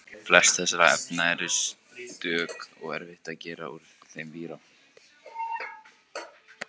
flest þessara efna eru stökk og erfitt að gera úr þeim víra